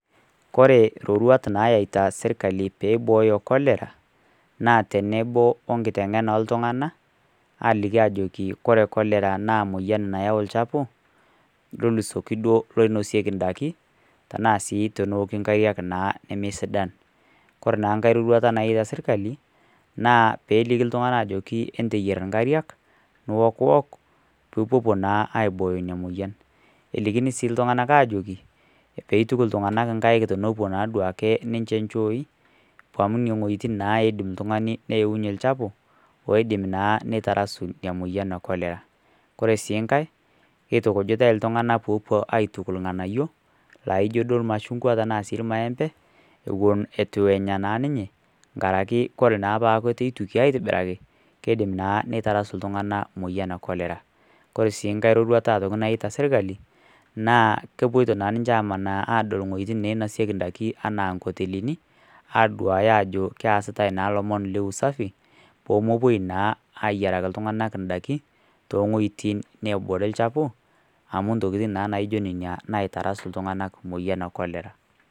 Kore iroruat naayaita serkali pee eibooyo cholera, naa tenebo o enkiteng'ena oo iltung'ana, aliki aajoki ore cholera naa nayau olchafu nidol intokitin nainosieki indaiki, tanaa sii naa teneoki inkariak naa neme sidan. Kore naa enkai roruata naaya serkari naa pee elikiiltung'ana pee eyier inkariak, niokuok pee ipuopuo naa aibooyo ina moyian. Elikini sii iltung'ana ajoki pee eituk iltung'anak naa inkaik tenepuo naa ninche inchooi, amu nena wuetin naa eidim oltung'ani neyaunye olchaafu, oidim naa aitarasu ina moyian naa e cholera. Kore sii ennkai, keitukujitai iltung'ana sii pee epuo aisuj ilg'anayio, laijo sii ilmashungwa ashu ilmaembe, ewuen eitu na ninye enkaraki naa ore paa eitu eituki aitobiraki, keidim naa neitarasu iltung'ana emoyian e cholera. Kore sii nkai roruata nayaita sirkali, naa kepuoita naa ninche amanaa adol iwueitin nainosieki endaa anaa inkotelini, aduaya ajo keasita naa ilomon le usafi, pee mepuoi naa iyieraki iltung'ana indaiki, too iwuetin neebore ilchafu, amu intokin naa naijo nenia naitarasu iltung'ana emoyian e cholera.